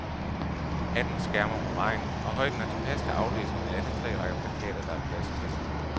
Hatten skærmer mod regn, og højden er tilpas til aflæsning af alle tre rækker plakater, der er plads til.